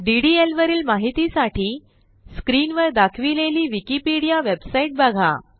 DDL वरील माहितीसाठी screenवर दाखविलेली विकिपीडिया वेबसाईट बघा